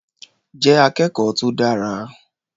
Jẹ́ akẹ́kọ̀ọ́ tó dára.